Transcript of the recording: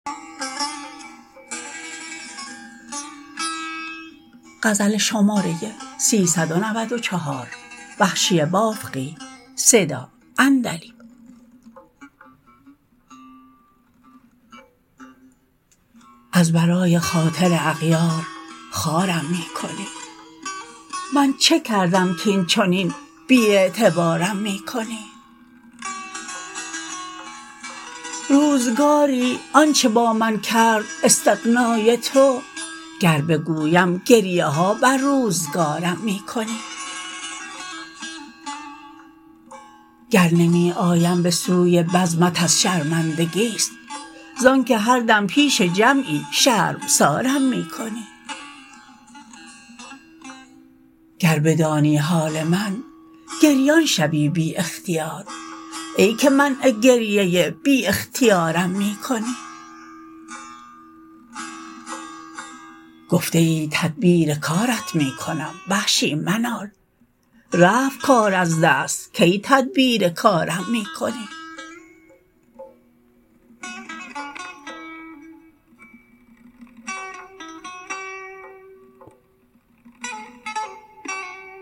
از برای خاطر اغیار خوارم می کنی من چه کردم کاینچنین بی اعتبارم می کنی روزگاری آنچه با من کرد استغنای تو گر بگویم گریه ها بر روزگارم می کنی گر نمی آیم به سوی بزمت از شرمندگیست زانکه هر دم پیش جمعی شرمسارم می کنی گر بدانی حال من گریان شوی بی اختیار ای که منع گریه بی اختیارم می کنی گفته ای تدبیر کارت می کنم وحشی منال رفت کار از دست کی تدبیر کارم می کنی